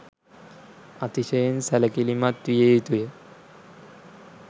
අතිශයින් සැලකිලිමත් විය යුතුය